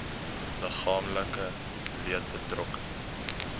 liggaamlike leed betrokke